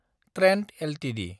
Trent Ltd